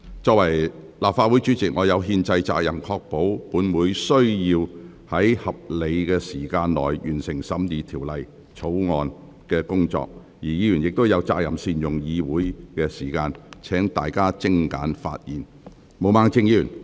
作為立法會主席，我有憲制責任確保本會在合理時間內完成審議《條例草案》的工作，而議員亦有責任善用議會時間，請大家精簡發言。